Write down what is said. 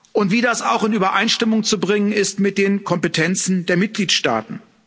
und wie das auch in Übereinstimmung zu bringen ist mit den Kompetenzen der Mitgliedstaaten.